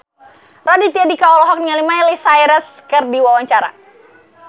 Raditya Dika olohok ningali Miley Cyrus keur diwawancara